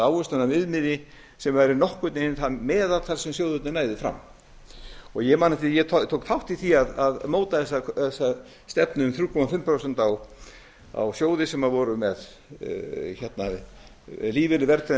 eða ávöxtunarviðmiði sem væri nokkurn veginn það meðaltal sem sjóðirnir næðu fram ég man eftir því að ég tók þátt í því að móta þessa stefnu um þrjú og hálft prósent á sjóði sem voru með lífeyri verðtryggðan miðað